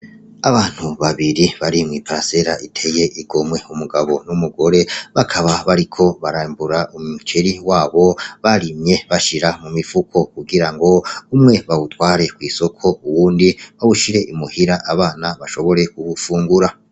Abantu babiri bari mw'i pansela iteye igomwe umugabo n'umugore bakaba bariko barambura umuceri wabo barimye bashira mu mifuko kugira ngo umwe bawutware kw'isoko uwundi bawushire imuhira abana bashobore kugufungura.